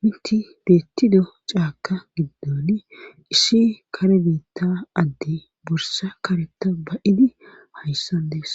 minti beettido caakka giddoni isshi kare biitta adde bursa kareta ba7idi hayssan dees